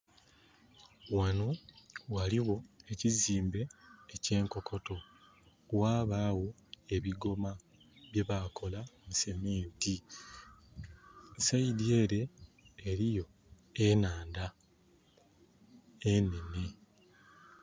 Wano waliwo ekizimbe ekye' nkokoto wabawo ebigoma bye bakola mu seminti. Saidi ere eriyo enaandha enene